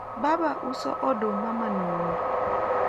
baba uso oduma manumu